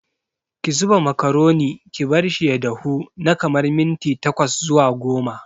Ki zuba makaroni ki barshi ya dahu na kamar minti tkwas zuwa goma.